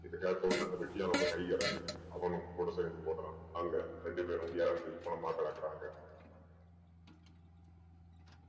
இதகெட்வுடனெ அந்த வெட்டியானோட கை இறங்குது அவனும் கூட சேர்ந்து ஓடுறான் அங்க ரெண்டு பேரும் இறந்து பொணமா கிடக்குறாங்க